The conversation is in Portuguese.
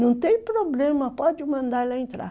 Não tem problema, pode mandar ela entrar.